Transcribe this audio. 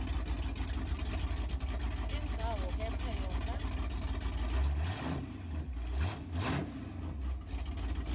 tindzawo kepha yona